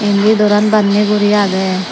indi doran banni guri agey.